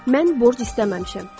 Mən borc istəməmişəm.